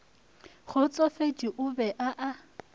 kgotsofetše o be a a